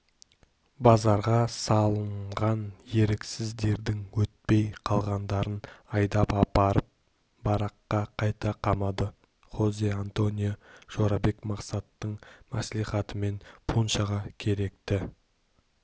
базарға салынған еріксіздердің өтпей қалғандарын айдап апарып баракқа қайта қамады хозе-антонио жорабек мақсаттың мәслихатымен пуншаға керекті